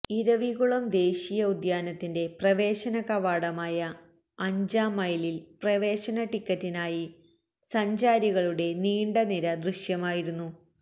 ഇരവികുളം ദേശീയ ഉദ്യാനത്തിന്റെ പ്രവേശന കവാടമായ അഞ്ചാം മൈലിൽ പ്രവേശന ടിക്കറ്റിനായി സഞ്ചാരികളുടെ നീണ്ട നിര ദൃശ്യമായിരുന്നു